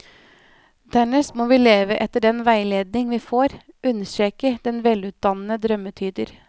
Dernest må vi leve etter den veiledning vi får, understreker den velutdannede drømmetyder.